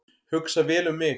Hugsa vel um mig